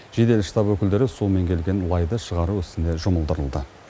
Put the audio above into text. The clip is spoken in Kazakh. жедел штаб өкілдері сумен келген лайды шығару ісіне жұмылдырылды